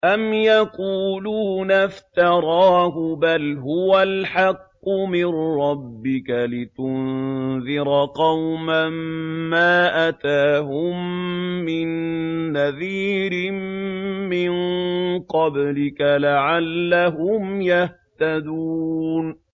أَمْ يَقُولُونَ افْتَرَاهُ ۚ بَلْ هُوَ الْحَقُّ مِن رَّبِّكَ لِتُنذِرَ قَوْمًا مَّا أَتَاهُم مِّن نَّذِيرٍ مِّن قَبْلِكَ لَعَلَّهُمْ يَهْتَدُونَ